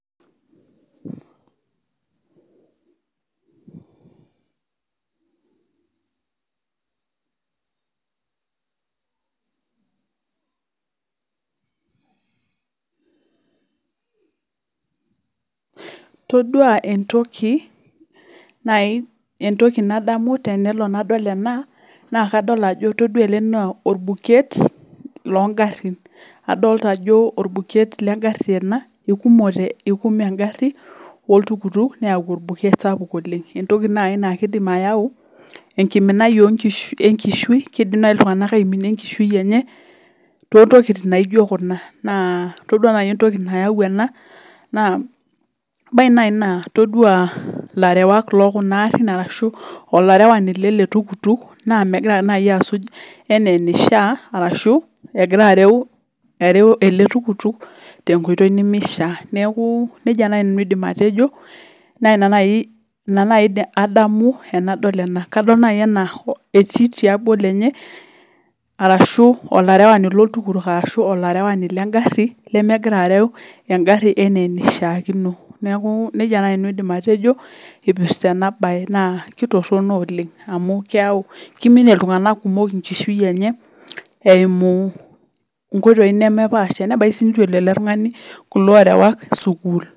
todua entoki nalo nadamu tenadol ena naa kadol ajo todua ele naa orbuket loo ngarin adolita ajo orbuket le ngari eikume engari oo ltukutuk neyau orbuket sapuk oleng entoki naaji naa keidim ayau enkiminai enkishui keidim naaji ltunganak aiminie enkishui enye too ntokikitin naijo kuna naa todua naaji entoki nayau ena ebaiki naaji naa todua larewak loo kuna aarin ashua olarewani lele tukutuk naa mmegira naaji asuj enaa einishaa ashu egira areu ele tukutuk te nkoitoi nemeishaa niaku nejia naaji nanu ajo naa ina naaji adamu tenadol ena ashu etii tiabo lenye ashu olarewani lo ltukutuk ashu olarewani le ngari lemegira areu engari enaa enaishiakino niaku nejia naaji nanu aidim atejo ipirta ena bae na kitorono oleng amu keiminie ltunganak kumok enkishui enye eimu nkoitoi nemepaasha nebaiki sii neitu elo ele tungani kulo arewak sukul